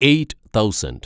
eight thousand